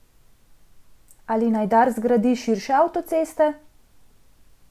Ali naj Dars zgradi širše avtoceste?